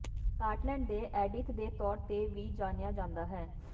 Scotland ਦੇ Edith ਦੇ ਤੌਰ ਤੇ ਵੀ ਜਾਣਿਆ ਜਾਂਦਾ ਹੈ